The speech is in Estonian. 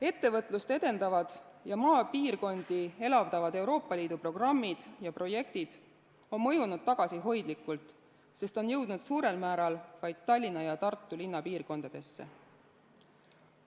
Ettevõtlust edendavad ja maapiirkondi elavdavad Euroopa Liidu programmid ja projektid on mõjunud tagasihoidlikult, sest on jõudnud suurel määral vaid Tallinna ja Tartu linnapiirkondadesse.